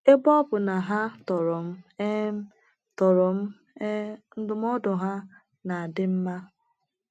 Ebe ọ bụ na ha tọrọ m um tọrọ m um, ndụmọdụ ha na - adị mma.